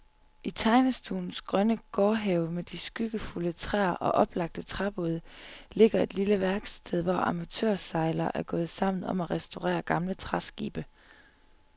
I tegnestuens grønne gårdhave med de skyggefulde træer og oplagte træbåde ligger et lille værksted, hvor amatørsejlere er gået sammen om at restaurere gamle træskibe.